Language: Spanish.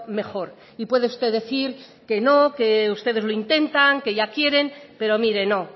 mejor y puede usted decir que ustedes lo intentan que ya quieren pero mire no